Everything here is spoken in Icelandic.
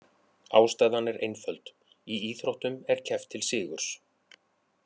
Ástæðan er einföld: í íþróttum er keppt til sigurs.